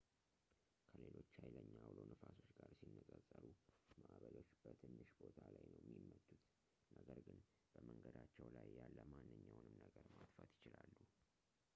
ከሌሎች ሃይለኛ አውሎ ነፋሶች ጋር ሲነጻጸሩ ማዕበሎች በትንሽ ቦታ ላይ ነው የሚመቱት ነገር ግን በመንገዳቸው ላይ ያለ ማንኛውንም ነገር ማጥፋት ይችላሉ